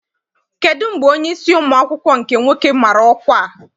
Kedụ mgbe onyeisi ụmụ akwụkwọ nke nwoke mara ọkwa a?